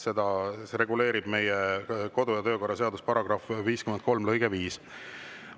Seda reguleerib meie kodu- ja töökorra seaduse § 53 lõige 5.